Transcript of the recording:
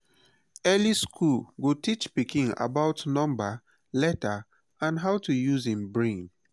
early school go teach pikin about number letter and how to use em brain.